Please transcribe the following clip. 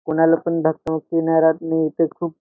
कुणाला पण दाखवा किनाऱ्यातले इथे खूप--